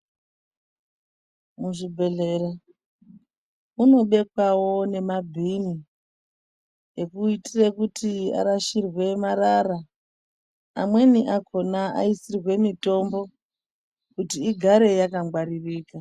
Muzvibhedhlera munobekwawo nemabhini anoitirawo kuti arashirwe marara amweni akhona aisirwe mitombo kuti igare yakangwaririka.